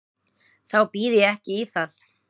Þá býð ég ekki í það.